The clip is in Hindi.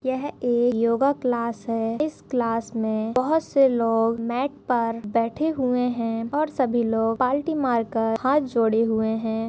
यह एक योगा क्लास है इस क्लास मे बहुत से लोग मैट पर बैठे हुए है और सभी लोग पालती मारकर हात जोड़े हुए है।